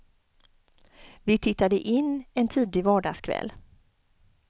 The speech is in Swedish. Vi tittade in en tidig vardagskväll.